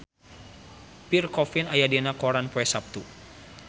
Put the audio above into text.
Pierre Coffin aya dina koran poe Saptu